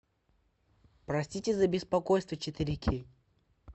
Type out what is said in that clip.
простите за беспокойство четыре кей